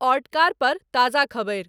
ओर्टकार पर ताज़ा खबरि